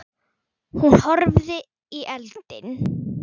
Hún horfði í eldinn.